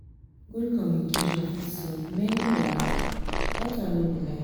good communication fit solve many wahala; dat one no be lie.